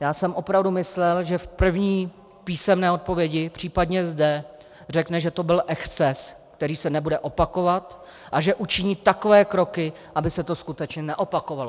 Já jsem opravdu myslel, že v první písemné odpovědi, případně zde, řekne, že to byl exces, který se nebude opakovat, a že učiní takové kroky, aby se to skutečně neopakovalo.